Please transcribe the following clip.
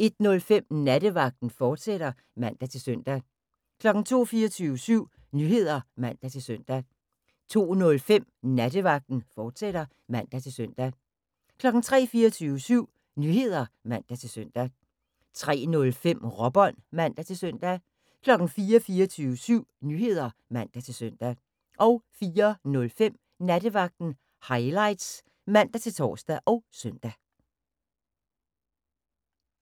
01:05: Nattevagten, fortsat (man-søn) 02:00: 24syv Nyheder (man-søn) 02:05: Nattevagten, fortsat (man-søn) 03:00: 24syv Nyheder (man-søn) 03:05: Råbånd (man-søn) 04:00: 24syv Nyheder (man-søn) 04:05: Nattevagten Highlights (man-tor og søn)